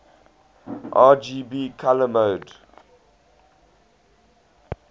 rgb color model